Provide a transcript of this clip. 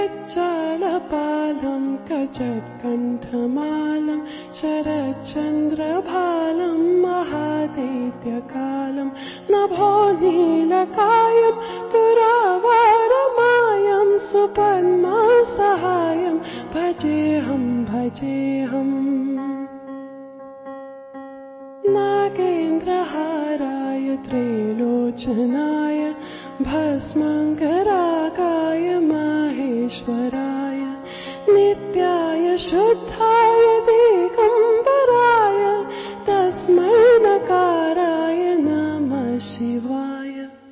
MKB EP 105 audio byte 1